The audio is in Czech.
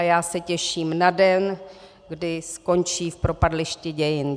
A já se těším na den, kdy skončí v propadlišti dějin.